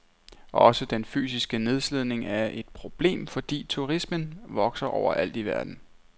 Også den fysiske nedslidning er et problem, fordi turismen vokser overalt i verden.